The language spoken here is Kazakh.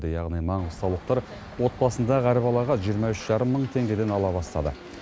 яғни маңғыстаулықтар отбасындағы әр балаға жиырма үш жарым мың теңгеден ала бастады